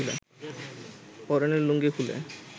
পরনের লুঙ্গি খুলে